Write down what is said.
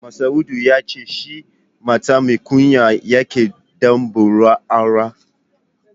Masa'udu ya ce shi mata mai kunya yake da burin aura